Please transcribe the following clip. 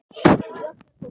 Réttir honum.